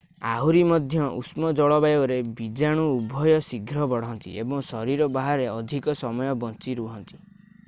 ଆହୁରି ମଧ୍ୟ ଉଷ୍ମ ଜଳବାୟୁରେ ବୀଜାଣୁ ଉଭୟ ଶୀଘ୍ର ବଢ଼ନ୍ତି ଏବଂ ଶରୀର ବାହାରେ ଅଧିକ ସମୟ ବଞ୍ଚିରହନ୍ତି